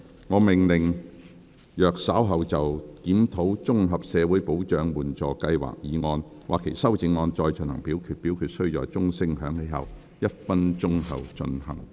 我命令若稍後就"檢討綜合社會保障援助計劃"所提出的議案或修正案再進行點名表決，表決須在鐘聲響起1分鐘後進行。